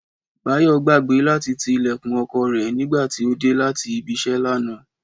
Báyò gbàgbé láti ti ilèkùn okò rè nígbà tí ó dé láti ibi isé lánàá